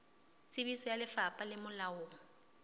tsebiso ya lefapha le molaong